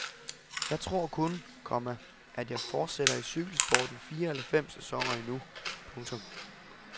Jeg tror kun, komma at jeg fortsætter i cykelsporten fire eller fem sæsoner endnu. punktum